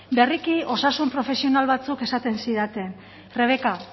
berriki osasun profesional batzuek esaten zidaten rebeka